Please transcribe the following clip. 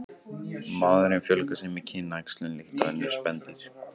Maðurinn fjölgar sér með kynæxlun líkt og önnur spendýr.